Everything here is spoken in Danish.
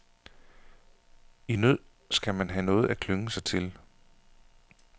I nød skal man have noget at klynge sig til.